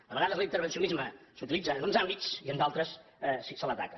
a vegades l’intervencionisme s’utilitza en uns àmbits i en d’altres se l’ataca